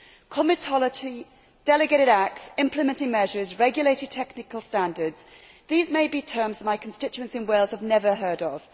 Comitology, delegated acts, implementing measures, regulated technical standards these may be terms that my constituents in Wales have never heard of.